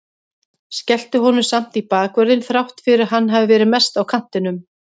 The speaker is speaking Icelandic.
Skellti honum samt í bakvörðinn þrátt fyrir að hann hafi verið mest á kantinum.